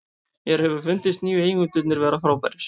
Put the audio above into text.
Mér hefur fundist nýju eigendurnir vera frábærir.